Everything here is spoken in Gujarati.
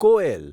કોએલ